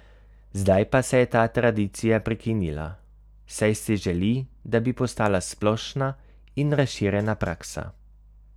Zdaj pa se je ta tradicija prekinila, saj si želi, da bi postala splošna in razširjena praksa.